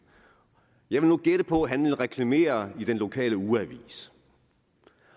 jeg vil nu gætte på at han vil reklamere i den lokale ugeavis